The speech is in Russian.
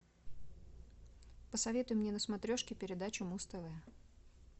посоветуй мне на смотрешке передачу муз тв